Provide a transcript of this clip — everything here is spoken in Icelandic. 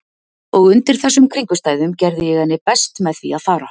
Og undir þessum kringumstæðum gerði ég henni best með því að fara.